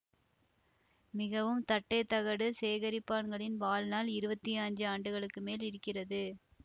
மிகவும் தட்டை தகடு சேகரிப்பான்களின் வாழ்நாள் இருவத்தி அஞ்சு ஆண்டுகளுக்கு மேல் இருக்கிறது